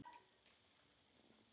Samt er Ísland alltaf nærri.